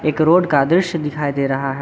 एक रोड का दृश्य दिखाई दे रहा है।